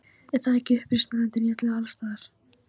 Er það ekki uppreisnarandinn- í öllum og alls staðar.